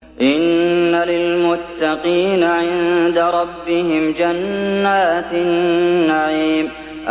إِنَّ لِلْمُتَّقِينَ عِندَ رَبِّهِمْ جَنَّاتِ النَّعِيمِ